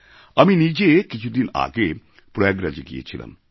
আমি নিজে কিছুদিন আগে প্রয়াগরাজএ গিয়েছিলাম